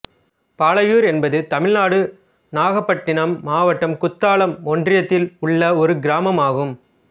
பாலையூர் என்பது தமிழ்நாடு நாகப்பட்டினம் மாவட்டம் குத்தாலம் ஒன்றியத்தில் உள்ள ஒரு கிராமம் ஆகும்